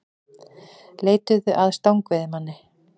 Leituðu að stangveiðimanni